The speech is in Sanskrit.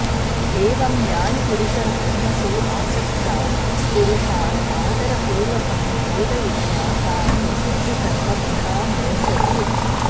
एवं ज्ञानिपुरुषः कर्मसु आसक्तान् पुरुषान् आदरपूर्वकं बोधयित्वा तान् निषिद्धकर्मभ्यः मोचयेत